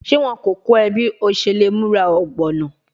Ṣe wọn ko kọ ọ bi o ṣe le mura ogbono?